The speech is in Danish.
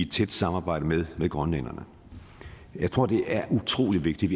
tæt samarbejde med grønlænderne jeg tror at det er utrolig vigtigt